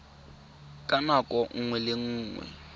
ka nako nngwe le nngwe